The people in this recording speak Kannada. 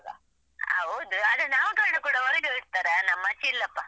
ಹೌದು ಆದ್ರೆ ನಾಮಕರಣ ಕೂಡ ಹೊರಗೆವೆ ಇಡ್ತಾರ ನಮ್ಮಚೆ ಇಲ್ಲಪ್ಪ.